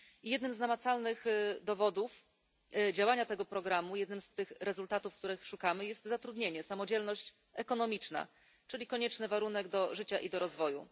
Jednym z namacalnych dowodów działania tego programu, jednym z tych rezultatów, których szukamy, jest zatrudnienie, samodzielność ekonomiczna, czyli konieczny warunek do życia i do rozwoju.